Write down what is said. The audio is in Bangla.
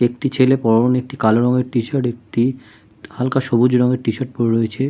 একটি ছেলে পরনে একটি কালো রংএর টিশার্ট একটি হাল্কা সবুজ রঙের টিশার্ট পরে রয়েছে।